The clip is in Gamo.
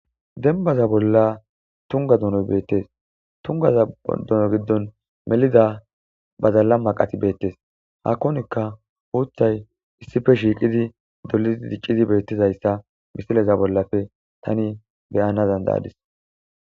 denbaza bolla tunga dunoy beettes tungaza duno giddon melida bazalla maqati beettes haakkonikka uutay issife shiiqidi dolidi dicqizi beettizayssa misileza bollafe tani beyana zanda7adis